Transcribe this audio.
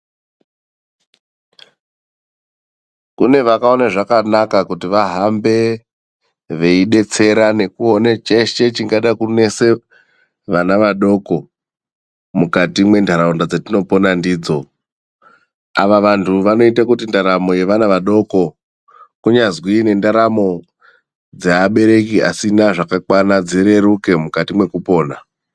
Kune vakaone zvakanaka kuti vahambe veidetsera nekuone cheshe chingada kunese vana vadoko mukati mwentaraunda dzetinopona ndidzo. Ava vantu vanoite kuti ndaramo yevana vadoko, kunyazwi nendaramo dzeabereki asina zvakakwana dzireruke mukati mwekupona.